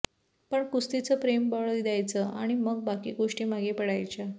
पण कुस्तीचं प्रेम बळ द्यायचं आणि मग बाकी गोष्टी मागे पडायच्या